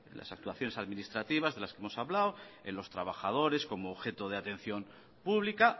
las actuaciones administrativas de las que hemos hablado en los trabajadores como objeto de atención pública